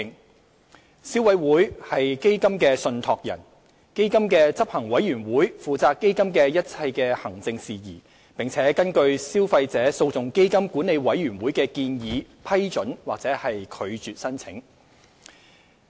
消費者委員會為基金的信託人，基金的執行委員會負責基金的一切行政事宜，並根據消費者訴訟基金管理委員會的建議批准或拒絕申請。